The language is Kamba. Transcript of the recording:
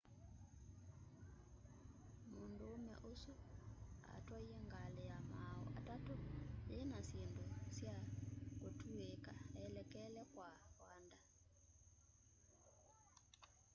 mũndũũme ũsu atwaie ngalĩ ya maaũ atatũ yĩna syĩndũ sya kũtũĩka elekele kwa wanda